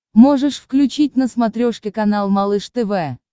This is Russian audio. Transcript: можешь включить на смотрешке канал малыш тв